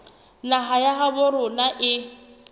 naha ya habo rona e